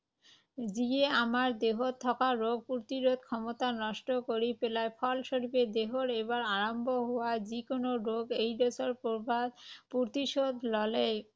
যিয়ে আমাৰ দেহত থকা ৰোগ প্ৰতিৰোধ ক্ষমতা নষ্ট কৰি পেলায়। ফলস্বৰূপে দেহৰ এবাৰ আৰাম্ভ হোৱা যিকোনো ৰোগ এইড্‌ছৰ প্ৰভাৱ প্ৰতিষোধ ল’লে